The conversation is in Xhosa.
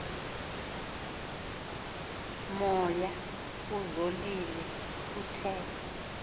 moya kuzolile kuthe